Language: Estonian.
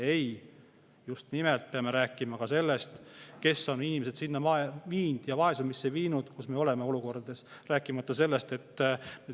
Ei, just nimelt me peame rääkima ka sellest, kes on inimesed vaesumisse viinud, miks me oleme olukorras.